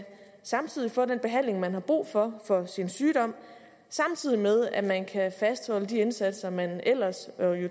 samtidig få den behandling man har brug for for sin sygdom samtidig med at man kan fastholde de indsatser man jo ellers